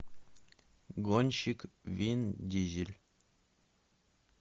гонщик вин дизель